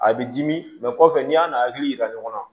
A bɛ dimi kɔfɛ n'i y'a n'a hakili yira ɲɔgɔn na